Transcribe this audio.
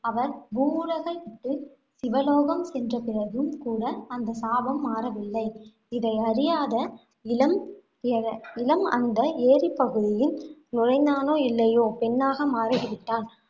அவர் பூவுலகை விட்டு, சிவலோகம் சென்ற பிறகும் கூட அந்த சாபம் மாறவில்லை. இதையறியாத இளம் இளன் அந்த ஏரிப்பகுதியில் நுழைந்தானோ இல்லையோ, பெண்ணாக மாறி விட்டான்.